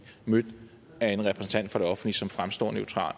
mødt af en repræsentant for det offentlige som fremstår